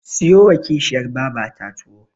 Siyowa Kishiyar babata tuwo.